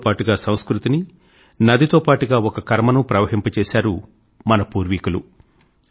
నది తో పాటుగా సంస్కృతిని నదితో పాటుగా ఒక కర్మనూ ప్రవహింపజేశారు మన పూర్వీకులు